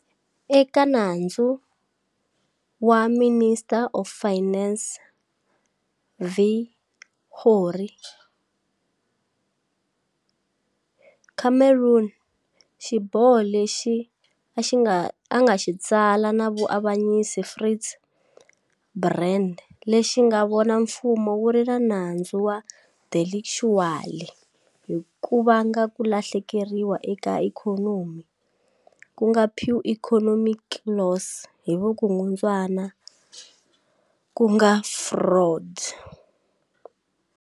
Eka nandzu wa"Minister of Finance v Gore", Cameron xiboho lexi a nga xi tsala na muavanyisi Fritz Brand lexi nga vona mfumo wu ri na nandzu wa delictually hi ku vanga ku lahlekeriwa eka ikhonomi ku nga pure economic loss hi vukungundzwana ku nga fraud.